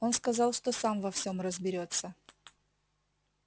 он сказал что сам во всём разберётся